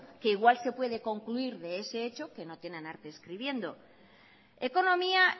que igual se puede concluir de ese hecho que no tienen arte escribiendo ekonomia